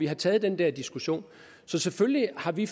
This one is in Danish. har taget den der diskussion så selvfølgelig har vi